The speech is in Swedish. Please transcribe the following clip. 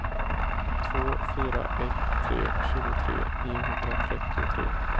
två fyra ett tre tjugotre niohundratrettiotre